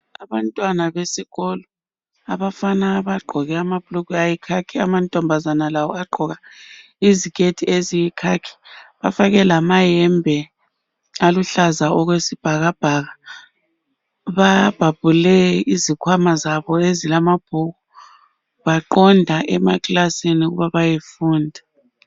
Abantwana besikolo. Abafana bagqoke abhulugwe ayikhakhi amantombazana lawo agqoka iziketi eziyikhakhi. Bafake lamayembe aluhlaza okwesibhakabhaka Babhabhule izikhwama zabo ezilamabhuku Baqonda emakilasini ukuba bayefunda